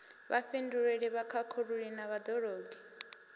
vhafhinduleli vhakhakhululi na vhad ologi